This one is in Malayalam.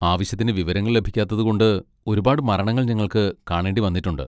ആവശ്യത്തിന് വിവരങ്ങൾ ലഭിക്കാത്തത് കൊണ്ട് ഒരുപാട് മരണങ്ങൾ ഞങ്ങൾക്ക് കാണേണ്ടി വന്നിട്ടുണ്ട്.